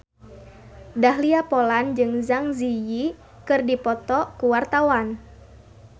Dahlia Poland jeung Zang Zi Yi keur dipoto ku wartawan